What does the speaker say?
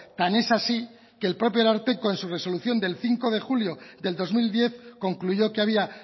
tan es así que el propio ararteko en su resolución del cinco de julio del dos mil diez concluyó que había